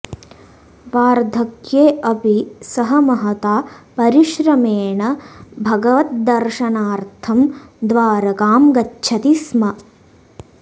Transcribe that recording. वार्धक्ये अपि सः महता परिश्रमेण भगवद्दर्शनार्थं द्वारकां गच्छति स्म